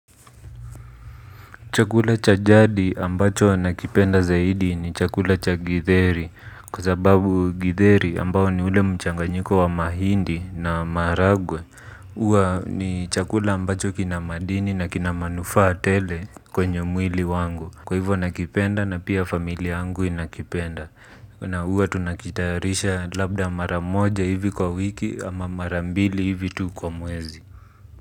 Chakula cha jadi ambacho nakipenda zaidi ni chakula cha githeri. Kwa sababu githeri ambao ni ule mchanganyiko wa mahindi na maharagwe huwa ni chakula ambacho kina madini na kina manufaa tele kwenye mwili wangu. Kwa hivyo nakipenda na pia familia yangu inakipenda. Na huwa tunakitayarisha labda mara moja hivi kwa wiki ama mara mbili hivi tu kwa mwezi.